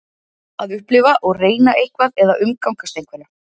Að upplifa og reyna eitthvað eða umgangast einhverja.